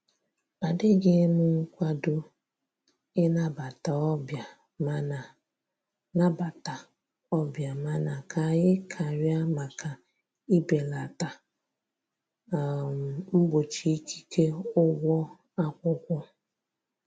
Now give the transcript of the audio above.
Adịghịm nkwado ị nabata ọbịa mana nabata ọbịa mana ka anyị karịa maka ibelata um mgbochi ikike ụgwọ akwụkwọ